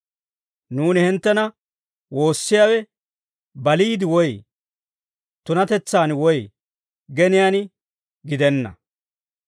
Nuuni hinttena woossiyaawe baliide woy tunatetsaan woy geniyaan gidenna.